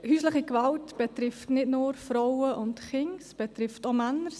Häusliche Gewalt betrifft nicht nur Frauen und Kinder, sie betrifft auch Männer.